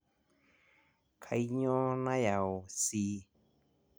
kaiyioo nayau C